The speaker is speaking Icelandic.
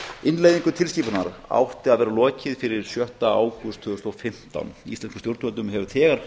innleiðingu tilskipunarinnar átti að vera lokið fyrir sjötta ágúst tvö þúsund og fimmtán íslenskum stjórnvöldum hefur þegar